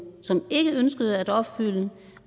som ikke ønskede at opfylde